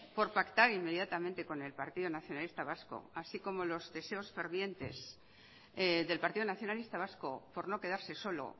por pactar inmediatamente con el partido nacionalista vasco así como los deseos fervientes del partido nacionalista vasco por no quedarse solo